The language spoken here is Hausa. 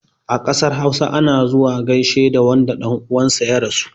A ƙasar hausa, ana zuwa gaishe da wanda ɗan uwan sa ya rasu.